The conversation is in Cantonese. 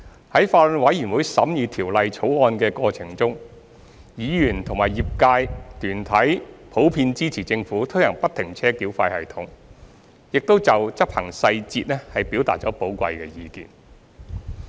在法案委員會審議《條例草案》的過程中，議員及業界團體普遍支持政府推行不停車繳費系統，亦就執行細節表達了寶貴的意見。